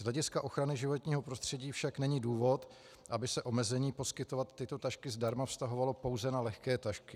Z hlediska ochrany životního prostředí však není důvod, aby se omezení poskytovat tyto tašky zdarma vztahovalo pouze na lehké tašky.